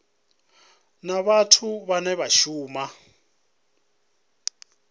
na vhathu vhane vha shuma